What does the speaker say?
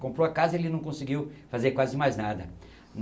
Comprou a casa e ele não conseguiu fazer quase mais nada.